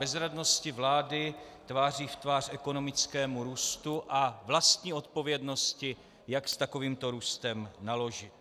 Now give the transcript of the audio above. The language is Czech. Bezradnosti vlády tváří v tvář ekonomickému růstu a vlastní odpovědnosti, jak s takovýmto růstem naložit.